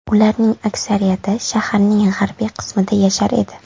Ularning aksariyati shaharning g‘arbiy qismida yashar edi.